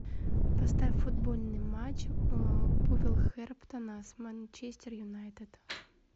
поставь футбольный матч вулверхэмптона с манчестер юнайтед